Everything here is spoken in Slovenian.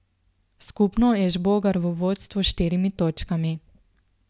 Skupno je Žbogar v vodstvu s štirimi točkami.